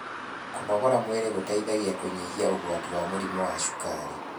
kũnogora mwĩrĩ gũteithagia kunyihia ugwati wa mĩrimũ ya cukari